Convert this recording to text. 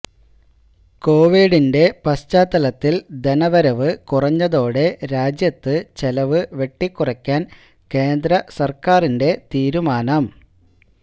കൊവിഡിന്റെ പശ്ചാത്തലത്തിൽ ധനവരവ് കുറഞ്ഞതോടെ രാജ്യത്ത് ചെലവ് വെട്ടിക്കുറയ്ക്കാന് കേന്ദ്ര സര്ക്കാരിന്റെ തീരുമാനം